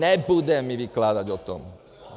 Nebude mi vykládať o tom!